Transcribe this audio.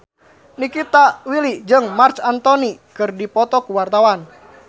Nikita Willy jeung Marc Anthony keur dipoto ku wartawan